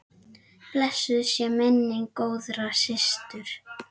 Blessuð sé minning góðrar systur.